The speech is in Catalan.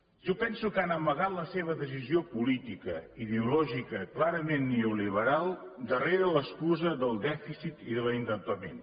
jo penso que han amagat la seva decisió política ideològica clarament neoliberal darrere l’excusa del dèficit i de l’endeutament